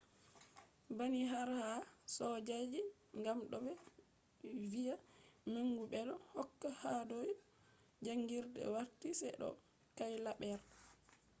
banni har ha soojaji gam do be viya mangu bedo hokka hadau jangirde warti se do cailaber